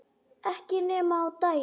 Ekki nema á daginn